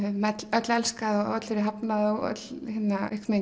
öll elskað og öll verið hafnað og öll